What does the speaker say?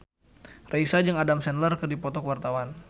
Raisa jeung Adam Sandler keur dipoto ku wartawan